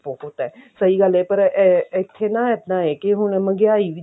ਬਹੁਤ ਹੈ ਸਹੀ ਗੱਲ ਹੈ ਪਰ ਇੱਥੇ ਨਾ ਇੱਦਾਂ ਆ ਕਿ ਹੁਣ ਮਹਿੰਗਾਈ